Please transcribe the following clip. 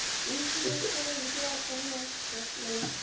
इन्शुरन्ससोबत जे असतात हे तुम्हाला.